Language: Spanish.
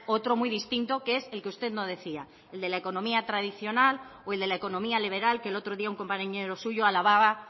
otro muy distinto que es el que usted no decía el de la economía tradicional o el de la economía liberal que el otro día un compañero suyo alababa